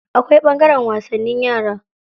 Akwai ɓangaren wasannin yara.